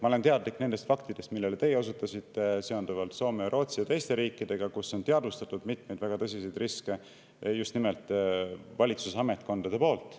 Ma olen teadlik nendest faktidest, millele teie osutasite, seonduvalt Soome, Rootsi ja teiste riikidega, kus on teadvustatud mitmeid väga tõsiseid riske just nimelt valitsusametkondade poolt.